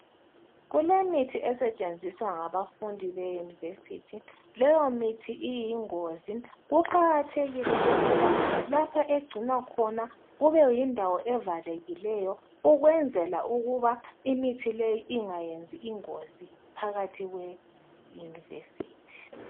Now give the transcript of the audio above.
Kulemithi esetshenziswa ngabafundi be university Leyo mithi iyingozi ,kuqakathekile ukuba lapha egcinwa khona kube yindawo evalekileyo ukwenzela ukuba imithi leyi ingayenzi ingozi phakathi kwe university.